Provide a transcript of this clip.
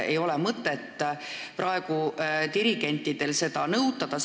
Ei ole mõtet praegu dirigentidelt seda nõuda.